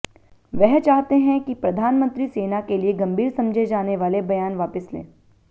वह चाहते हैं कि प्रधानमंत्री सेना के लिए गंभीर समझे जाने वाले बयान वापस ले